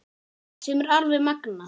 Sem er alveg magnað.